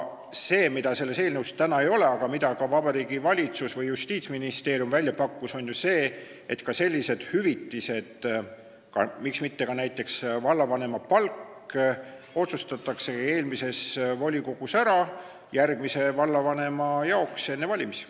See, mida selles eelnõus täna ei ole, aga mida Vabariigi Valitsus või Justiitsministeerium välja pakkus, on ju see, et ka sellised hüvitised, miks mitte ka vallavanema palk, otsustataks ära eelmises volikogus järgmise vallavanema jaoks, enne valimisi.